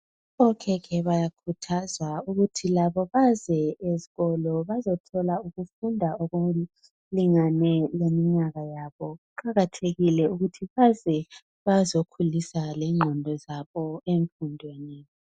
Okhekhe bayakhuthazwa ukuthi labo baze ezikolo bazothola ukufunda okulinganeyo leminyaka yabo. Kuqakathekile ukuthi baze bazokhulisa lenqondo zabo emfundweni.